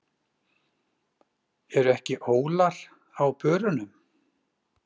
Eru ekki ólar á börunum?